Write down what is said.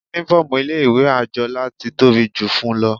Uniform ilé ìwé Anjola ti tóbi jù fún-un lọ.